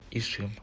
ишим